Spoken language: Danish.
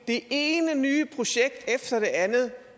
det ene nye projekt efter det andet